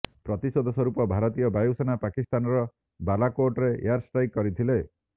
ପ୍ରତିଶୋଧ ସ୍ବରୂପ ଭାରତୀୟ ବାୟୁସେନା ପାକିସ୍ତାନର ବାଲାକୋଟରେ ଏୟାରଷ୍ଟ୍ରାଇକ କରିଥିଲେ